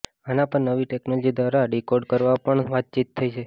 આના પર નવી ટેક્નોલોજી દ્વારા ડિકોડ કરવા પર પણ વાતચીત થઈ છે